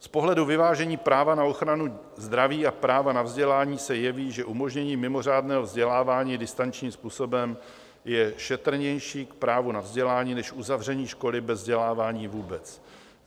Z pohledu vyvážení práva na ochranu zdraví a práva na vzdělání se jeví, že umožnění mimořádného vzdělávání distančním způsobem je šetrnější k právu na vzdělání než uzavření školy bez vzdělávání vůbec.